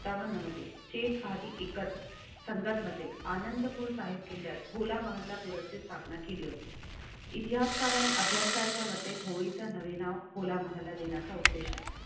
डावांमध्येचे स्वाती एकच सांगतमध्ये आनंदपुर साहिब केल्यात होला महल्लापुरची स्थापना केली होती. इतिहासकार आणि अभ्यासकांच्यामध्ये होळीचा नवीन नाव खोल आम्हाला देण्याचा उद्देशा.